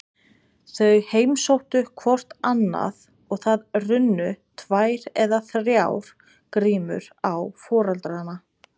Þau heimsóttu hvort annað og það runnu tvær eða þrjár grímur á foreldrana.